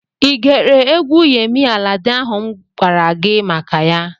Ị gere egwu Yemi Alade ahụ mụ gwara gị maka ya?